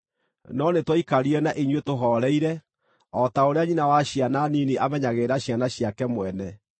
no nĩtwaikarire na inyuĩ tũhooreire, o ta ũrĩa nyina wa ciana nini amenyagĩrĩra ciana ciake mwene.